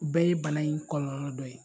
O bɛɛ ye bana in kɔlɔlɔ dɔ ye.